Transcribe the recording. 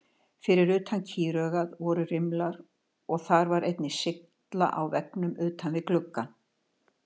Fyrir utan kýraugað voru rimlar og þar var einnig sylla á veggnum utan við gluggann.